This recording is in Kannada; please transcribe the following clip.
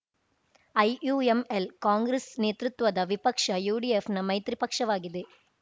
ಐಯುಎಂಎಲ್‌ ಕಾಂಗ್ರೆಸ್‌ ನೇತೃತ್ವದ ವಿಪಕ್ಷ ಯುಡಿಎಫ್‌ನ ಮೈತ್ರಿ ಪಕ್ಷವಾಗಿದೆ